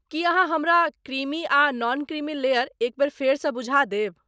की अहाँ हमरा क्रीमी आ नॉन क्रीमी लेयर एक बेर फेरसँ बुझा देब?